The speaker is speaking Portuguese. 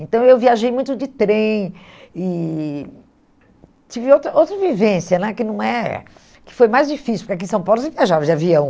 Então eu viajei muito de trem e tive outra outra vivência né que não é, que foi mais difícil, porque aqui em São Paulo você viajava de avião.